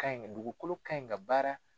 Ka ɲi yɛrɛ dugukolo ka ɲi ka baara.